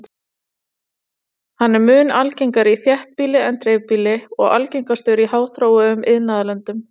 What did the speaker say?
Hann er mun algengari í þéttbýli en dreifbýli og algengastur í háþróuðum iðnaðarlöndum.